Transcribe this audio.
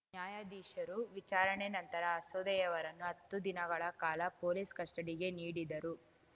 ನ್ಯಾಯಾಧೀಶರು ವಿಚಾರಣೆ ನಂತರ ಅಸೋದೆಯವರನ್ನು ಹತ್ತು ದಿನಗಳ ಕಾಲ ಪೊಲೀಸ್‌ ಕಸ್ಟಡಿಗೆ ನೀಡಿದರು